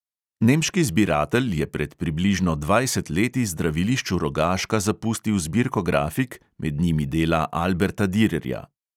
Nemški zbiratelj je pred približno dvajset leti zdravilišču rogaška zapustil zbirko grafik, med njimi dela alberta direrja.